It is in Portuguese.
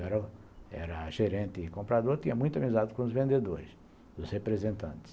Eu era gerente e comprador, tinha muita amizade com os vendedores, dos representantes.